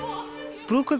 brúðkaup